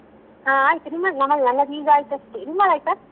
ಹ ಆಯ್ತು ನಿಮ್ಮದು ನನ್ನದು ನನ್ನದು ಈಗ ಆಯ್ತು ಅಷ್ಟೆ ನಿಮ್ಮದಾಯ್ತಾ?